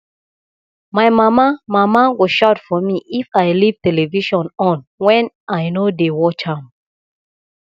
my mama mama go shout for me if i leave television on wen i no dey watch am